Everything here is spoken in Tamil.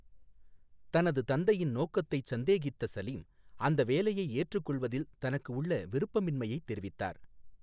தனது தந்தையின் நோக்கத்தைச் சந்தேகித்த சலீம் அந்த வேலையை ஏற்றுக்கொள்வதில் தனக்கு உள்ள விருப்பமின்மையைத் தெரிவித்தார்.